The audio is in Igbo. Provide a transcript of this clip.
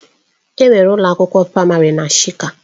Enwere ụlọ akwụkwọ praịmarị na shika.